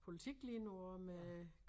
Politik lige nu og med